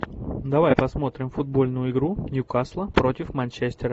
давай посмотрим футбольную игру ньюкасла против манчестера